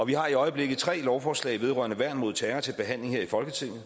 vi har i øjeblikket tre lovforslag vedrørende værn mod terror til behandling her i folketinget